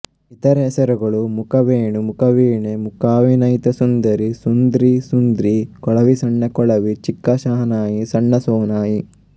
ಇತರೆ ಹೆಸರುಗಳು ಮುಖವೇಣು ಮುಖವೀಣೆ ಮುಕಾವಿನೈತ ಸುಂದರಿ ಸುಂದ್ರಿ ಸುಂದ್ರಿ ಕೊಳವಿಸಣ್ಣ ಕೊಳವಿ ಚಿಕ್ಕ ಶಹನಾಯಿ ಸಣ್ಣ ಸೋನಾಯಿ